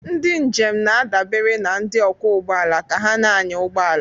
Ndị njem na-adabere na ndị ọkwọ ụgbọala ka ha na-anya ụgbọ ala.